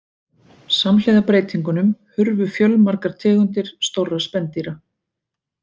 Samhliða breytingunum hurfu fjölmargar tegundir stórra spendýra.